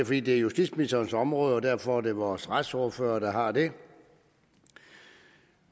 fordi det er justitsministerens område og derfor er det vores retsordfører der har det